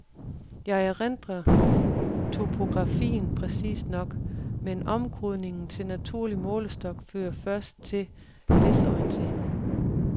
Jeg erindrer topografien præcist nok, men omkodningen til naturlig målestok fører først til desorientering.